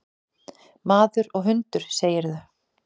Maður og hundur, segirðu?